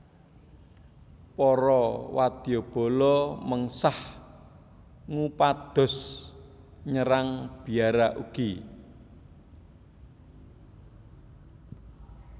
Para wadyabala mengsah ngupados nyerang biara ugi